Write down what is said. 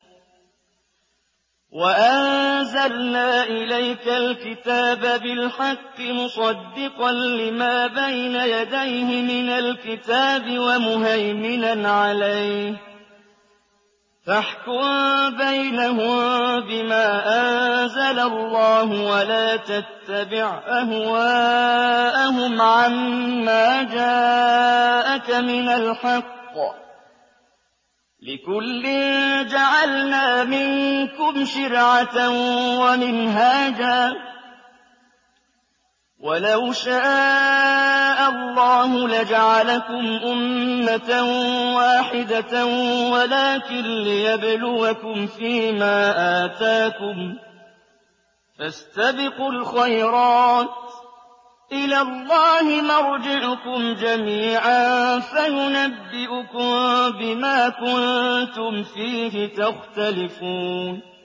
وَأَنزَلْنَا إِلَيْكَ الْكِتَابَ بِالْحَقِّ مُصَدِّقًا لِّمَا بَيْنَ يَدَيْهِ مِنَ الْكِتَابِ وَمُهَيْمِنًا عَلَيْهِ ۖ فَاحْكُم بَيْنَهُم بِمَا أَنزَلَ اللَّهُ ۖ وَلَا تَتَّبِعْ أَهْوَاءَهُمْ عَمَّا جَاءَكَ مِنَ الْحَقِّ ۚ لِكُلٍّ جَعَلْنَا مِنكُمْ شِرْعَةً وَمِنْهَاجًا ۚ وَلَوْ شَاءَ اللَّهُ لَجَعَلَكُمْ أُمَّةً وَاحِدَةً وَلَٰكِن لِّيَبْلُوَكُمْ فِي مَا آتَاكُمْ ۖ فَاسْتَبِقُوا الْخَيْرَاتِ ۚ إِلَى اللَّهِ مَرْجِعُكُمْ جَمِيعًا فَيُنَبِّئُكُم بِمَا كُنتُمْ فِيهِ تَخْتَلِفُونَ